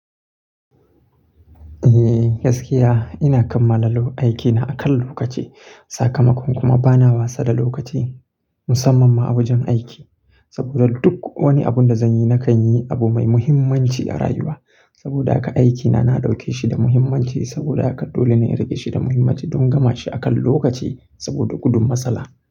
Eh gaskiya ina kammala aiki na akan lokaci. Sakamakon kuma bana wasa da lokaci musamman ma awajen aiki. Saboda duk wani abun da zan yi, na kan yi abu mai muhimmanci a rayuwa. Saboda haka aikina na ɗauke shi da muhimmanci saboda haka dole ne in riƙe shi da muhimmanci don gama shi akan lokaci saboda gudun matsala.